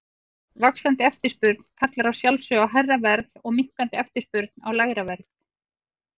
Vaxandi eftirspurn kallar að sjálfsögðu á hærra verð og minnkandi eftirspurn á lægra verð.